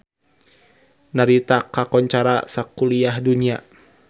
Narita kakoncara sakuliah dunya